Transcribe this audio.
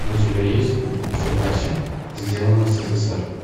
у тебя есть в запасе сделано в ссср